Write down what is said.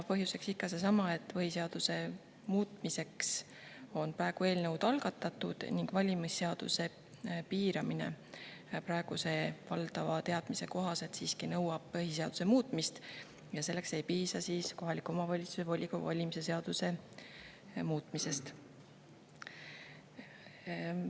Põhjuseks ikka seesama, et põhiseaduse muutmiseks on praegu eelnõud algatatud ning valimis piiramine praeguse valdava teadmise kohaselt nõuab siiski põhiseaduse muutmist ja selleks ei piisa kohaliku omavalitsuse volikogu valimise seaduse muutmisest.